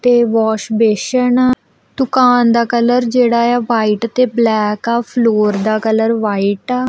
ਇਹ ਵੋਸ਼ਬੇਸ਼ਿਨ ਆ ਦੁਕਾਨ ਦਾ ਕਲਰ ਜਿਹੜਾ ਏ ਆ ਵਾਈਟ ਤੇ ਬਲੈਕ ਆ ਫਲੋਰ ਦਾ ਕਲਰ ਵਾਈਟ ਆ।